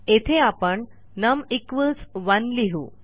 येथे आपण नम 1लिहू